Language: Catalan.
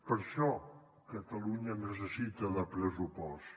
per això catalunya necessita un pressupost